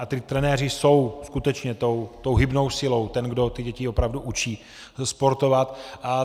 A ti trenéři jsou skutečně tou hybnou silou, těmi, kdo ty děti opravdu učí sportovat.